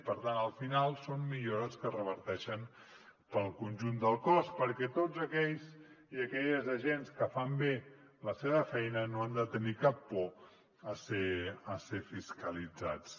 per tant al final són millores que reverteixen en el conjunt del cos perquè tots aquells i aquelles agents que fan bé la seva feina no han de tenir cap por a ser fiscalitzats